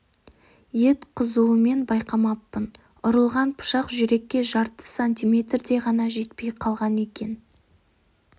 ет қызуыммен байқамаппын ұрылған пышақ жүрекке жарты сантиметрдей ғана жетпей қалған екен